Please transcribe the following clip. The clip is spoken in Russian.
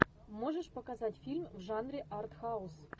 можешь показать фильм в жанре артхаус